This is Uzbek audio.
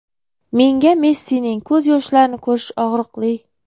Menga Messining ko‘z yoshlarini ko‘rish og‘riqli.